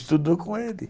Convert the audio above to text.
Estudou com ele.